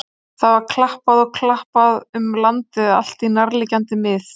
Það var klappað og klappað um landið allt og nærliggjandi mið.